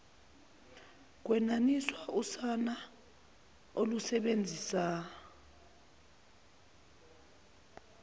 kwenaniswa usana olusebenzisa